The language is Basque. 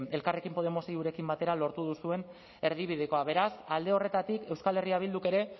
elkarrekin podemos iurekin batera lortu duzuen erdibidekoa beraz alde horretatik euskal herria bilduk ere